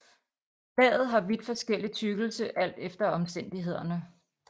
Laget har vidt forskellig tykkelse alt efter omstændighederne